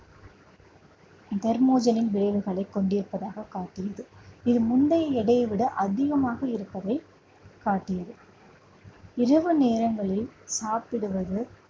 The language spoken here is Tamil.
விளைவுகளை கொண்டிருப்பதாக காட்டியது இது முந்தைய எடையை விட அதிகமாக இருப்பதை காட்டியது இரவு நேரங்களில் சாப்பிடுவது